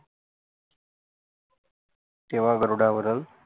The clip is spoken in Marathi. तेव्हा गरुडावरून